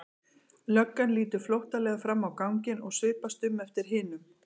Löggan lítur flóttalega fram á ganginn og svipast um eftir hinum.